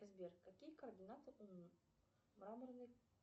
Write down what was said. сбер какие координаты у мраморной